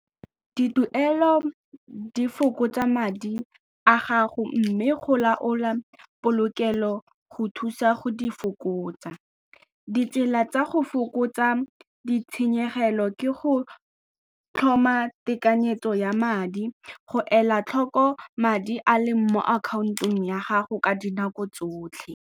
Dituelo di fokotsa madi a gago mme go laola polokelo go thusa go di fokotsa. Ditsela tsa go fokotsa kgotsa ditshenyegelo ke go tlhoma tekanyetso ya madi, go ela tlhoko madi a leng mo akhaontong ya gago ka dinako tsotlhe.